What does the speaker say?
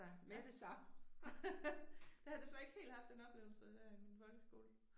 Ja. Jeg har desværre ikke helt haft den oplevelse der i min folkeskole